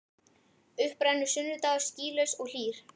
Upp rennur sunnudagur skýlaus og hlýr.